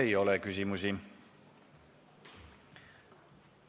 Teile ei ole küsimusi.